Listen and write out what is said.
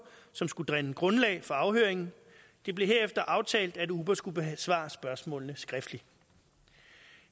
som skulle danne grundlag for afhøringen det blev herefter aftalt at uber skulle besvare spørgsmålene skriftligt